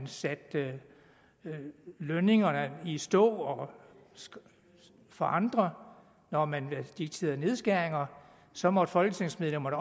satte lønningerne i stå for andre når man dikterede nedskæringer så måtte folketingsmedlemmerne